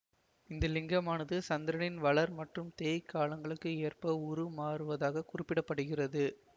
இந்த லிங்கமானது சந்திரனின் வளர் மற்றும் தேய் காலங்களுக்கு ஏற்ப உரு மாறுவதாக குறிப்பிட படுகிறது